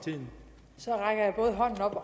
nok